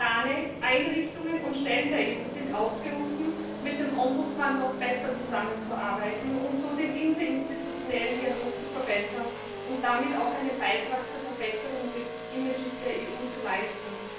Organe, Einrichtungen und Stellen der EU sind aufgerufen, mit dem Bürgerbeauftragten noch besser zusammenzuarbeiten und so den interinstitutionellen Dialog zu verbessern und damit auch einen Beitrag zur Verbesserung des Image der EU zu leisten.